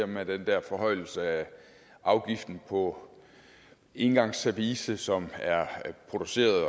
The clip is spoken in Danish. med den dér forhøjelse af afgiften på engangsservice som er produceret